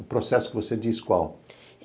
O processo que você diz qual?